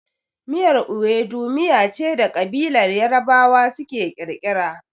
Miyar Ewedu miya ce da ƙabilar Yarabawa suka kirkira.